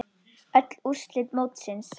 Öll úrslit mótsins